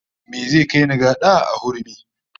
Me zai kai ni, gada a hurumi?